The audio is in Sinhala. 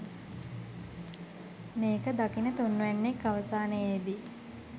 මේක දකින තුන්වැන්නෙක් අවසානයේදි